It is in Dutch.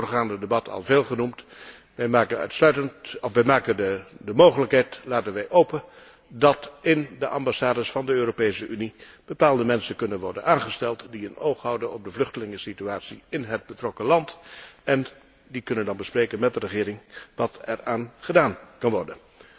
Het is in het voorgaande debat al veel genoemd. Wij laten de mogelijkheid open dat in de ambassades van de Europese Unie bepaalde mensen kunnen worden aangesteld die een oog houden op de vluchtelingensituatie in het betrokken land. Die kunnen dan bespreken met de regering wat er aan gedaan kan worden.